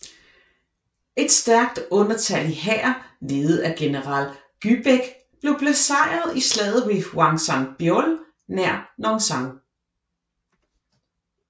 Et stærkt undertallig hær ledet af general Gyebaek blev besejret i slaget ved Hwangsanbeol nær Nonsan